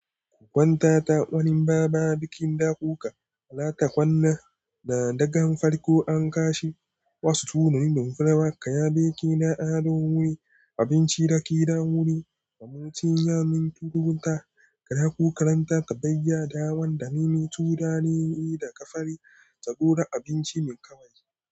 Ku kwanta ta wani baba bikin dakuka, alata kwanna da dagan farko an kashi, wasu tunanin dumfararka ya beke da ado wuri, abinci da ƙira wuri, da mutum ya minturu ta, ka dako karanta ta bayya da wanda nini tu dare yi daga fari, ka gora abinci mai ƙawai.